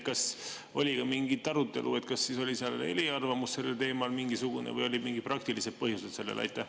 Kas oli ka mingit arutelu, et kas oli seal mingisugune eriarvamus sellel teemal või olid sellel mingid praktilised põhjused?